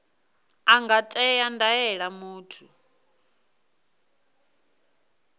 a nga ṅea ndaela muthu